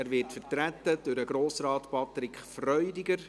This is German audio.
Er wird vertreten durch Grossrat Patrick Freudiger.